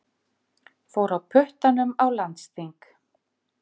Fór á puttanum á landsþing